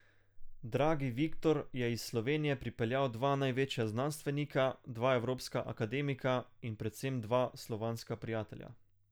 Dragi Viktor je iz Slovenije pripeljal dva največja znanstvenika, dva evropska akademika in predvsem dva slovanska prijatelja.